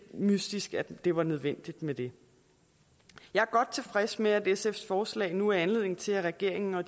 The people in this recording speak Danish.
mystisk at det var nødvendigt med det jeg er godt tilfreds med at sfs forslag nu er anledning til at regeringen og